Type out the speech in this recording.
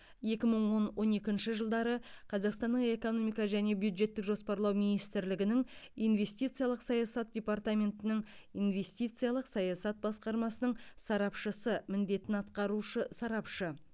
екі мың он он екінші жылдары қазақстанның экономика және бюджеттік жоспарлау министрлігінің инвестициялық саясат департаментінің инвестициялық саясат басқармасының сарапшысы міндетін атқарушы сарапшы